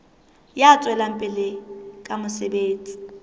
ya tswelang pele ka mosebetsi